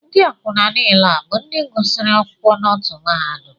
Ndị akwụna niile a bụ ndị gụsịrị akwụkwọ n'otu mahadum?